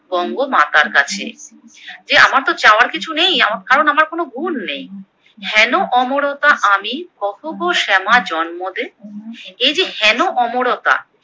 বঙ্গমাতার কাছে, যে আমারতো চাওয়ার কিছু নেই আমার কারণ আমার কোনো গুণ নেই। হেন অমরতা আমি কহ গো শ্যামা জন্মদে, এই যে হেন অমরতা